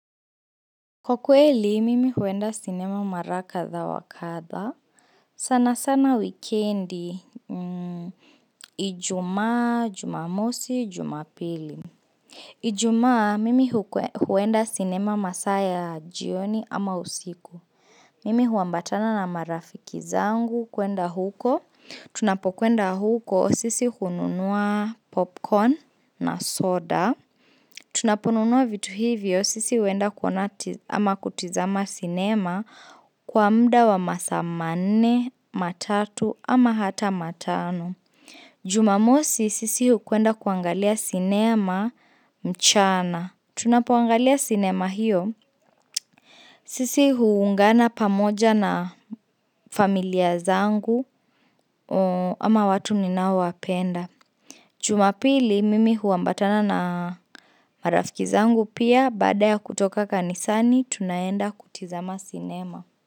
Kwa kweli, mimi huenda sinema mara katha wa katha. Sana sana wikendi, ijuma, jumamosi, jumapili. Ijuma, mimi huenda sinema masaa ya jioni ama usiku. Mimi huambatana na marafiki zangu kuenda huko. Tunapokwenda huko, sisi hununua popcorn na soda. Tunaponunua vitu hivyo, sisi huenda kuona ama kutizama cinema kwa mda wa masaa mnne, matatu ama hata matano. Jumamosi, sisi hukwenda kuangalia cinema mchana. Tunapoangalia cinema hiyo, sisi huungana pamoja na familia zangu ama watu ninaowapenda. Jumapili mimi huambatana na marafiki zangu pia bada ya kutoka kanisani tunaenda kutizama cinema.